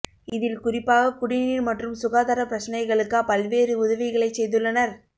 இதில் குறிப்பாகக் குடிநீர் மற்றும் சுகாதாரப் பிரச்சினைகளுக்கா பல்வேறு உதவிகளைச் செய்துள்ளனர்